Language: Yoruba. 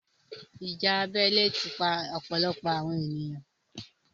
ìjà abẹ́lé ti pa ọ̀pọ̀lọpọ̀ àwọn èèyan.